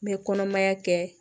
N bɛ kɔnɔmaya kɛ